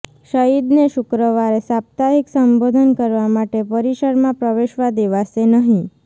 સઇદને શુક્રવારે સાપ્તાહિક સંબોધન કરવા માટે પરિસરમાં પ્રવેશવા દેવાશે નહીં